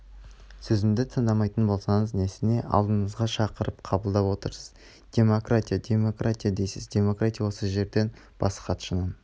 сөзімді тыңдамайтын болсаңыз несіне алдыңызға шақырып қабылдап отырсыз демократия демократия дейсіз демократия осы жерден бас хатшының